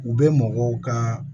U bɛ mɔgɔw ka